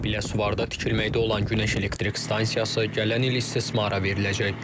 Biləsuvarda tikilməkdə olan günəş elektrik stansiyası gələn il istismara veriləcək.